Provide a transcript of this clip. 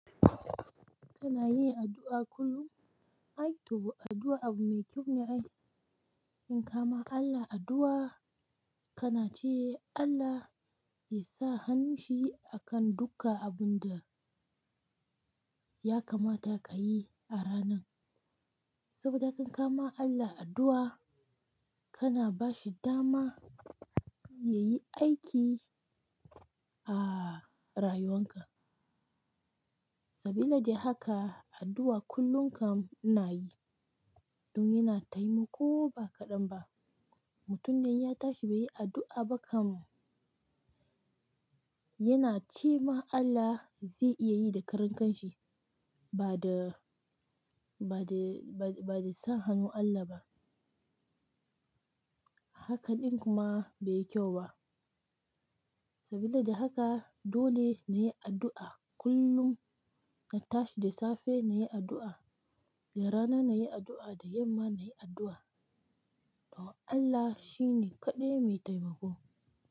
Tana yin addu'a kullum. Ai to, addu'a abu mai kyau ne ai in kama Allah addu'a kana ce, Allah ya sa hannunshi akan duka abun da ya kamata ka yi a ranan. Saboda haka in kama Allah addu'a kana ba shi dama ya yi aiki a rayuwanka. Sabila da haka addu'a kullum kam ina yi don yana taimako ba kaɗan ba. Mutum inya tashi bai yi addu'a ba kam yana ce ma Allah zai iya yi da karen kan shi ba da, ba da, ba da sa hannu Allah ba. Haka ɗin kuma bai yi kyau ba. Sabile da haka dole na yi addu'a kullum. Na tashi da safe na yi addu'a, da rana na yi addu'a, da yamma na yi addu'a. Don Allah shi ne kaɗai mai taimako.